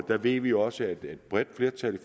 der ved vi også at et bredt flertal i